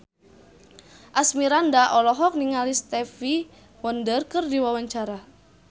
Asmirandah olohok ningali Stevie Wonder keur diwawancara